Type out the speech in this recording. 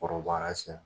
Kɔrɔbayara siɲɛ